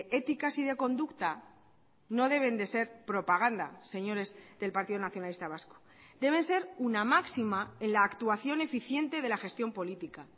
éticas y de conducta no deben de ser propaganda señores del partido nacionalista vasco deben ser una máxima en la actuación eficiente de la gestión política